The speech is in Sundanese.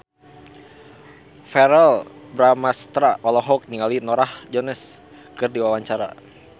Verrell Bramastra olohok ningali Norah Jones keur diwawancara